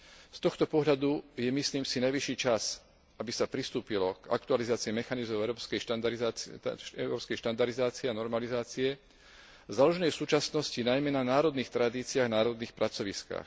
Z tohto pohľadu je, myslím si, najvyšší čas, aby sa pristúpilo k aktualizácii mechanizmov európskej štandardizácie a normalizácie, založenej v súčasnosti najmä na národných tradíciách, národných pracoviskách.